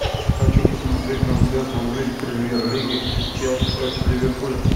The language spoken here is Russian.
хочу посмотреть трансляцию английской премьер лиги челси против ливерпуля